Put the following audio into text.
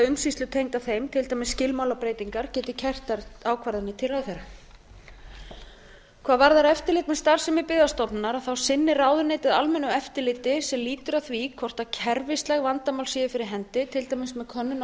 umsýslu tengda þeim til dæmis skilmálabreytingar geti kært þær ákvarðanir til ráðherra hvað varðar eftirlit með starfsemi byggðastofnunar þá sinnir ráðuneytið almennu eftirliti sem lýtur að því hvort kerfisleg vandamál séu fyrir hendi til dæmis með könnun á